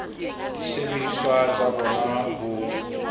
le disebediswa tsa bona ho